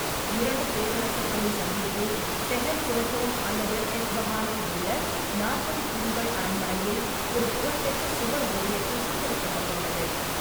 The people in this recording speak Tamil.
இரண்டு பேரரசர்களின் சந்திப்பு செஹெல் சோட்டோன் அல்லது எஸ்பஹானில் உள்ள நாற்பது தூண்கள் அரண்மனையில் ஒரு புகழ்பெற்ற சுவர் ஓவியத்தில் சித்தரிக்கப்பட்டுள்ளது.